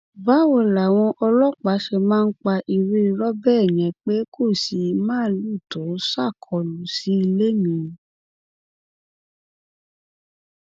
báwo làwọn ọlọpàá ṣe máa pa irú irọ bẹẹ yẹn pé kò sí màálùú tó ṣàkólú sí ilé mi